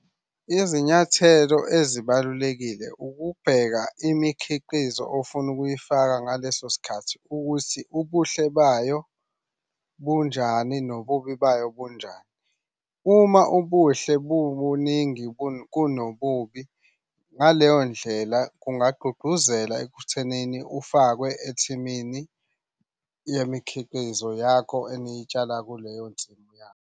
Izinyathelo ezibalulekile ukubheka imikhiqizo ofuna ukuyifaka ngaleso sikhathi ukuthi ubuhle bayo bunjani nobubi bayo bunjani. Uma ubuhle bubuningi kunobubi, ngaleyo ndlela kungagqugquzela ekuthenini ufakwe ethimini yemikhiqizo yakho eniyitshala kuleyo nsimini yakho.